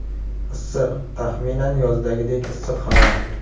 Issiq, taxminan yozdagidek issiq havo.